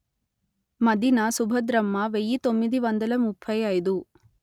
మదిన సుభద్రమ్మ వెయ్యి తొమ్మిది వందల ముప్పై అయిదు